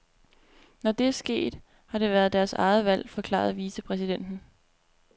Når det er sket, har det været deres eget valg, forklarede vicepræsidenten.